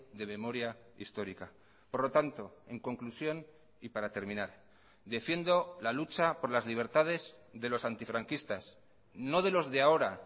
de memoria histórica por lo tanto en conclusión y para terminar defiendo la lucha por las libertades de los antifranquistas no de los de ahora